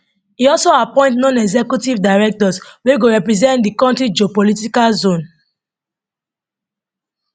e also appoint nonexecutive directors wey go represent di kontri geopolitical zone